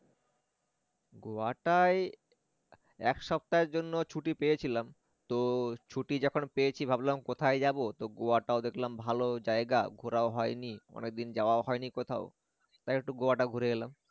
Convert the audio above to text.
গোয়াটায় এক সপ্তাহের জন্য ছুটি পেয়েছিলাম তো ছুটি যখন পেয়েছি ভাবলাম কোথায় যাব তো গোয়াটা দেখলাম ভালো জায়গা ঘোরাও হয়নি অনেকদিন যাওয়াও হয়নি কোথাও তাই একটু গোয়াটা ঘুরে এলাম